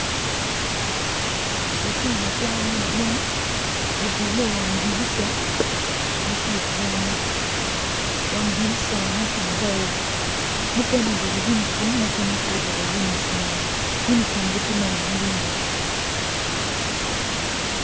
Lutino kwan madwong gudile i wang dirica gitye ka bunyo wang diricane tye bao mukene oruko unifom mukene pe oruko unifom uniformgi tye ma bulu.